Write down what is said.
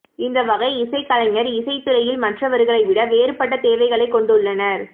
இந்த வகை இசைக் கலைஞர் இசை துறையில் மற்றவர்களை விட வேறுபட்ட தேவைகளைக் கொண்டுள்ளனர்